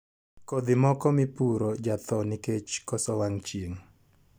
Kodhi moko mipuro jathoo nikeche koso wang' chieng'